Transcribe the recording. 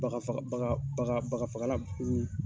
Bagafa baga bagafagalan